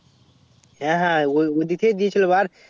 হ্যাঁ হ্যাঁ ওই দিক থেকে দিয়ে আসবো আর